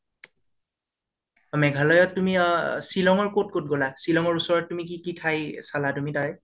মেঘালয় ত তুমি অ শ্বিলং ৰ কত কত গলা । শ্বিলং ৰ ওচৰত তুমি কি কি ঠাই চলা তুমি তাৰে